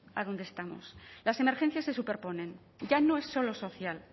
a donde estamos las emergencias se superponen ya no es solo social